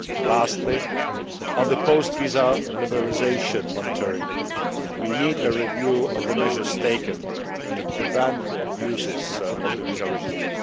Lastly, on the post visa liberalisation monitoring, we need a review of the measures taken to prevent abuses of the visa regime.